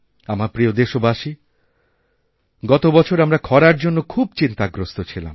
আমার প্রিয়দেশবাসী গত বছর আমরা খরার জন্য খুব চিন্তাগ্রস্ত ছিলাম